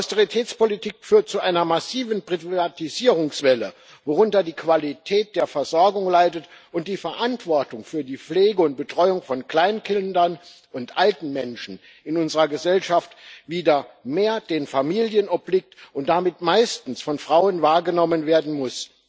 Die Austeritätspolitik führt zu einer massiven Privatisierungswelle, worunter die Qualität der Versorgung leidet und die Verantwortung für die Pflege und Betreuung von Kleinkindern und alten Menschen in unserer Gesellschaft wieder mehr den Familien obliegt und damit meistens von Frauen wahrgenommen werden muss.